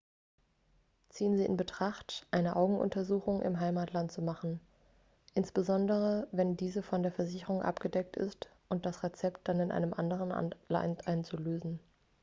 ziehen sie in betracht eine augenuntersuchung im heimatland zu machen insbesondere wenn diese von der versicherung abgedeckt ist und das rezept dann in einem anderen land einzulösen